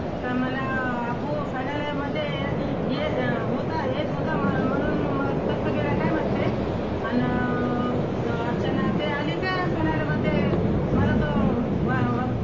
तर मला अबू finale मध्ये हे होता येत होता म्हणून कसा गेला काय माहीत ते अन अर्चना ते आली ते finale मध्ये मला तो